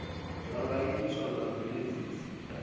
zwa nga itiswa nga mveledziso